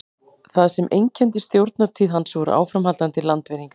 það sem einkenndi stjórnartíð hans voru áframhaldandi landvinningar